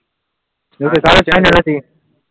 બીજું નથી